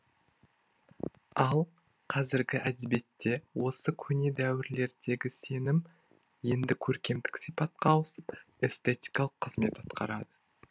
ал қазіргі әдебиетте осы көне дәуірлердегі сенім енді көркемдік сипатқа ауысып эстетикалық қызмет атқарады